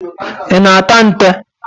Ị na-ata nte?